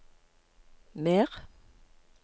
mer